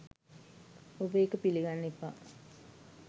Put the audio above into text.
ඔබ ඒක පිළිගන්න එපා.